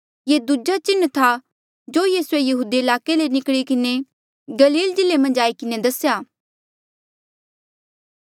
ये दूजा चिन्ह था जो यीसूए यहूदिया ईलाके ले निकली किन्हें गलील जिल्ले मन्झ आई किन्हें दसेया